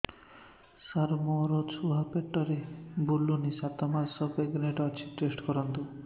ସାର ମୋର ଛୁଆ ପେଟରେ ବୁଲୁନି ସାତ ମାସ ପ୍ରେଗନାଂଟ ଅଛି ଟେଷ୍ଟ କରନ୍ତୁ